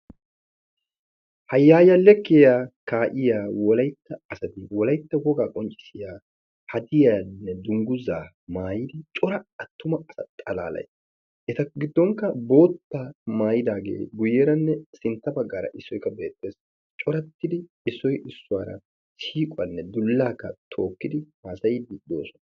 Hayayya lekkiya kaa'iya wolaytta asati wolaytta wogaa qonccissiya hadiyaanne dungguzza maayidi cora attuma asa xalaalay eta giddonkka boottaa maayidaagee guyeeranne sintta baggaara issoy qa beettees. Coratidi issoy issuwara shiiqquwaann dulaakka tokkidi haasayiidi de'oosona.